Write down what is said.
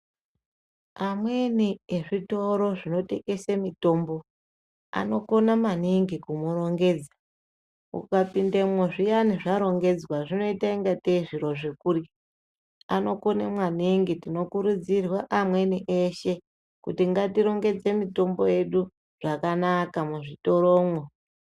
Amweni ezvitoro zvinotengese mitombo anokona maningi kumurongedza. Ukapindamwo zviyani zvarongedzwa zvinoitange tee zviro zvekurya. Anokone maningi tinokurudzirwa amweni eshe kuti ngatirongedze mitombo yedu zvakanaka muzvitoromwo.